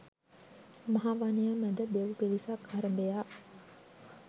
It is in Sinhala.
මහ වනය මැද දෙව් පිරිසක් අරභයා